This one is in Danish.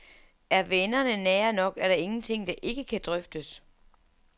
Er vennerne nære nok, er der ingenting, der ikke kan drøftes.